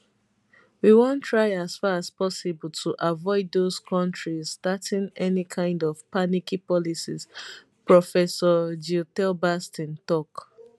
we want try as far as possible to avoid those countries starting any kind of panicky policies prof gietelbas ten tok